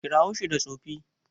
Kira shi da Tsofi.